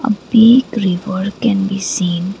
a big river can be seen.